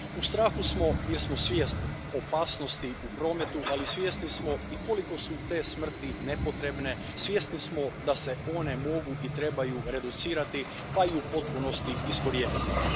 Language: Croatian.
U strahu smo jer smo svjesni opasnosti u prometu, ali svjesni smo i koliko su te smrti nepotrebne, svjesni smo da se one mogu i trebaju reducirati pa i u potpunosti iskorijeniti.